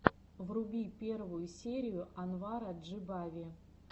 вруби первую серию анвара джибави